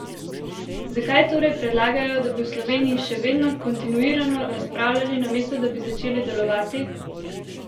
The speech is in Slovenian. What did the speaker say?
Zakaj torej predlagajo, da bi v Sloveniji še vedno kontinuirano razpravljali, namesto da bi začeli delovati?